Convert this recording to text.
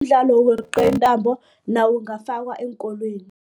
Umdlalo wokweqa iintambo nawo ungafakwa eenkolweni.